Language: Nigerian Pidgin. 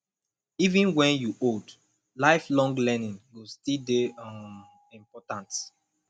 even wen you old lifelong learning go still dey um important